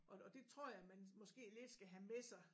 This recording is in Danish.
Og og det tror jeg man måske lidt skal have med sig